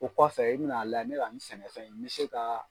O kɔfɛ i bɛ na layɛ ne ka nin sɛnɛfɛn in n bɛ se ka